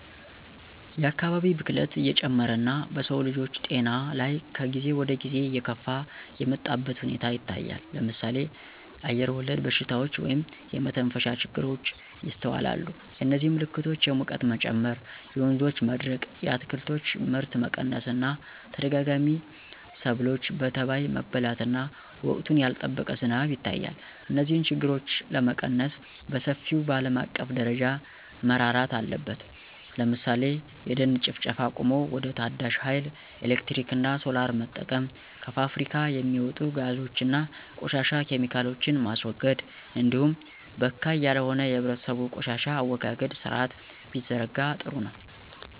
የአካባቢ ብክለት እየጨመረ እና በሰውልጆች ጤና ላይ ከጊዜ ወደጊዜ እየከፋ የመጣበት ሁኔታ ይታያል ለምሳሌ አየርወለድ በሽታዎች (የመተንፈሻ ችግሮች) ይስተዋላሉ የዚህም ምልክቶች የሙቀት መጨመር የወንዞች መድረቅ የአትክልቶች ምርት መቀነስ እና ተደጋጋሚ ሰብሎች በተባይ መበላት እና ወቅቱን ያልጠበቀ ዝናብ ይታያል። እነዚህን ችግሮች ለመቀነስ በሰፊው በአለም አቀፍ ደረጃ መረራት አለበት ለምሳሌ የደን ጭፍጨፋ አቁሞ ወደ ታዳሽ ሀይል ኤሌክትሪክ እና ሶላር መጠቀም። ከፋብሪካ የሚወጡ ጋዞች እና ቆሻሻ ኬሚካሎችን ማስወገድ እንዲሁም በካይ ያልሆነ የህብረተሰቡ የቆሻሻ አወጋገድ ስርአት ቢዘረጋ ጥሩ ነው።